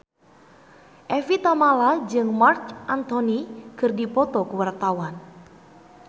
Evie Tamala jeung Marc Anthony keur dipoto ku wartawan